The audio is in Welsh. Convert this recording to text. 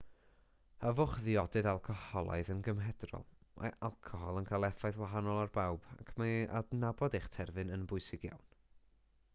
yfwch ddiodydd alcoholaidd yn gymedrol mae alcohol yn cael effaith wahanol ar bawb ac mae adnabod eich terfyn yn bwysig iawn